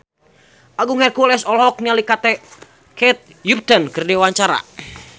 Agung Hercules olohok ningali Kate Upton keur diwawancara